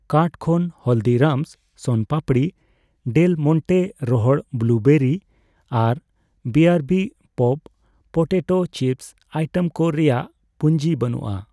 Cart ᱠᱷᱚᱱ Haldirams sona papdi, Del Monte ᱨᱚᱦᱚᱲ blueberry ᱟᱨ ᱵᱤᱟᱨᱵᱤ ᱯᱚᱯᱰ ᱯᱚᱴᱮᱴᱳ ᱪᱤᱯᱥ ᱟᱭᱴᱮᱢ ᱠᱚ ᱨᱮᱭᱟᱜ ᱯᱩᱧᱡᱤ ᱵᱟᱹᱱᱩᱜᱼᱟ ᱾